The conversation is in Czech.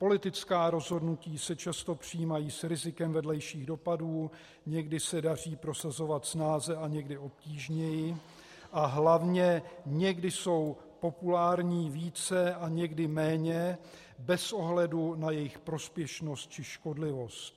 Politická rozhodnutí se často přijímají s rizikem vedlejších dopadů, někdy se daří prosazovat snáze a někdy obtížněji a hlavně někdy jsou populární více a někdy méně, bez ohledu na jejich prospěšnost či škodlivost.